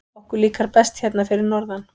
Okkur líkar best hérna fyrir norðan.